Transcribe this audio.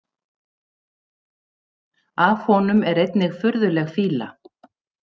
Af honum er einnig furðuleg fýla.